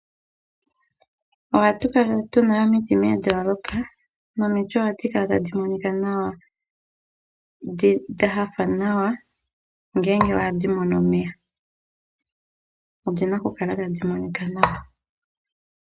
Ohatu kala tuna omiti moondoolopa, nomiti ohadhi kala tadhi monika nawa. Dha hafa nawa, ngele ohadhi mono omeya, odhina okukala tadhi monika nawa.